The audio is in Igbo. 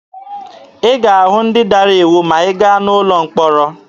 Ị ga-ahụ ndị dara iwu ma ị gaa n'ụlọ mkpọrọ.